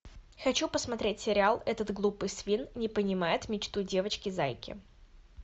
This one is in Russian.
хочу посмотреть сериал этот глупый свин не понимает мечту девочки зайки